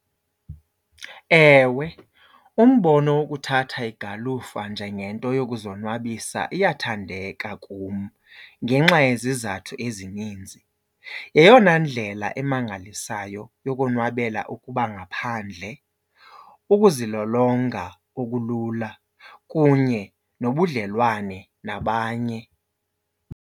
Ewe, umbono wokuthatha igalufa njengento yokuzonwabisa iyathandeka kum ngenxa yezizathu ezininzi. Yeyona ndlela emangalisayo yokonwabela ukuba ngaphandle, ukuzilolonga okulula kunye nobudlelwane nabanye.